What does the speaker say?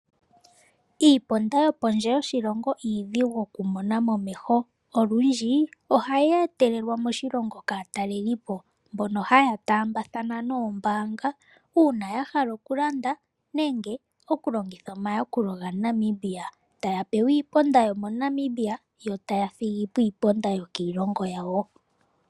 Iiponda yo pondje yoshilongo, iidhigu oku mona momeho. Olundji ohayi e telelwa moshilongo kaatalelipo mbono haya taambathana noombaanga ,uuna ya hala oku landa nenge oku longitha omayakulo ga Namibia, taya pewa iiponda yo moNamibia, yo taya thigi po iiponda yo kiilongo yawo .